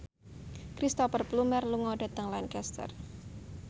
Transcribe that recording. Cristhoper Plumer lunga dhateng Lancaster